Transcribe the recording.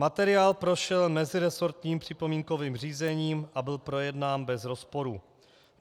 Materiál prošel meziresortním připomínkovým řízením a byl projednán bez rozporů.